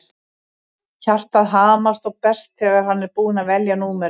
Hjartað hamast og berst þegar hann er búinn að velja númerið.